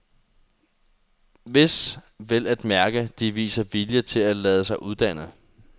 Hvis, vel at mærke, de viser vilje til at lade sig uddanne.